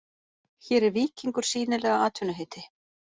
Hér er víkingur sýnilega atvinnuheiti.